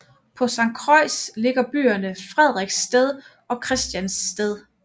På Sankt Croix ligger byerne Frederiksted og Christiansted